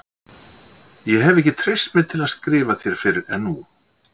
Ég hef ekki treyst mér til að skrifa þér fyrr en nú.